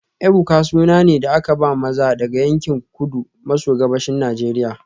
Ebuka suna ne da aka ba maza daga yankin Kudu maso Gabashin Najeriya